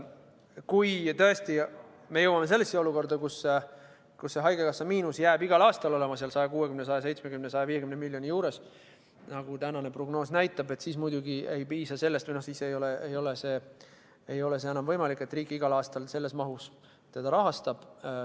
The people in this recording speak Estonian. Kui me tõesti jõuame sellesse olukorda, kus haigekassa miinus jääb igal aastal 160, 170 või 150 miljoni juurde, nagu tänane prognoos näitab, siis ei ole enam võimalik, et riik teda igal aastal sellises mahus rahastaks.